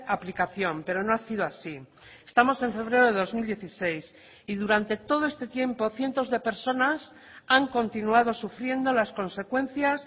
aplicación pero no ha sido así estamos en febrero de dos mil dieciséis y durante todo este tiempo cientos de personas han continuado sufriendo las consecuencias